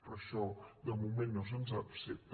però això de moment no se’ns accepta